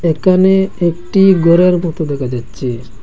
একানে একটি গরের মতো দেখা যাচ্চে।